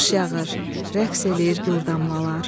Yağış yağır, rəqs eləyir gur damlalar.